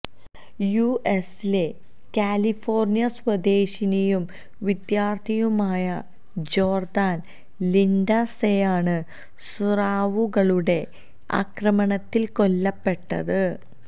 യുഎസിലെ കാലിഫോര്ണിയ സ്വദേശിനിയും വിദ്യാര്ഥിനിയുമായ ജോര്ദാന് ലിന്ഡ്സേയാണ് സ്രാവുകളുടെ ആക്രമണത്തില് കൊല്ലപ്പെട്ടത്